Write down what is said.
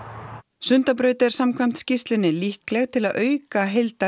Sundabraut er samkvæmt skýrslunni líkleg til að auka